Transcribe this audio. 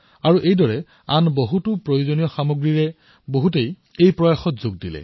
এনেকৈ বহুলোকে অৱদান আগবঢ়ালে